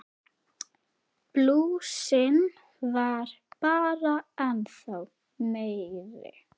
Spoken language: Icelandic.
Blúsinn varð bara ennþá meiri.